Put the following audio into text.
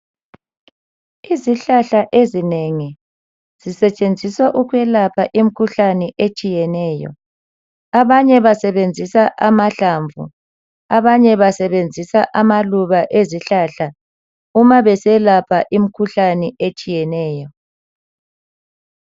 Izihlahla ezinengi zisetshenziswa ukwelapha imkhuhlane etshiyeneyo, abanye basebenzisa amahlamvu, abanye basebenzisa amaluba ezihlahla uma beselapha imkhuhlane etshiyeneyo.